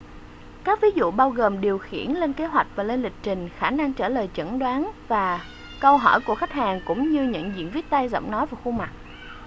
các ví dụ bao gồm điều khiển lên kế hoạch và lên lịch trình khả năng trả lời chẩn đoán và câu hỏi của khách hàng cũng như nhận diện viết tay giọng nói và khuôn mặt